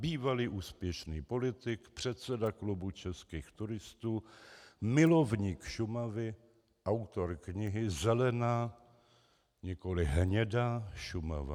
Bývalý úspěšný politik, předseda Klubu českých turistů, milovník Šumavy, autor knihy Zelená, nikoli hnědá Šumava.